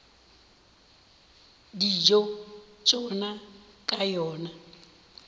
dijo tša tšona ka yona